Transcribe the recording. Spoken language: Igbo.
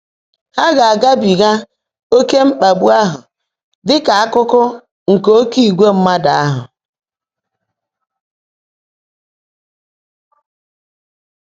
Há gá-ágábíghá ‘óké mkpàgbú áhụ́’ ḍị́ kà ákụ́kụ́ nkè “óké ìgwè mmádụ́” áhụ́.